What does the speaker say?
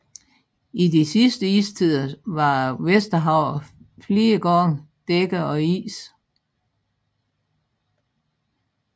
I de sidste istider var Vesterhavet flere gange dækket af is